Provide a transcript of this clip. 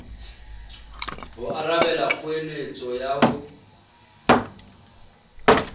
ho arabela kgoeletso ya ho